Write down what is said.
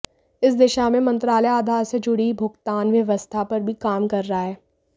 इस दिशा में मंत्रालय आधार से जुड़ी भुगतान व्यवस्था पर भी काम कर रहा है